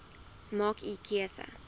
maak u keuse